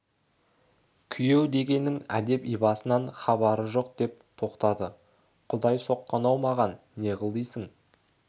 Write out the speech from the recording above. күйеу дегеннің әдеп-ибасынан хабарың жоқ деп тоқтады құдай соққан-ау маған не қыл дейсің